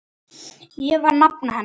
Ég var nafna hennar.